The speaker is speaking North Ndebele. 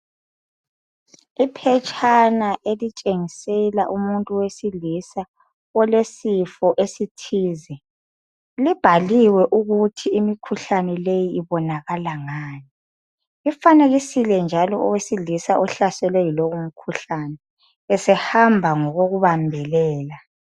Iphetshana elitshengesela umuntu wesilisa olesifo esithize. Libhaliwe ukuthi imikhuhlane leyi ibonakala ngani. Lifanekisile njalo owesilisa ohlaselwe yilowu mkhuhlane esehamba ngokokubambelela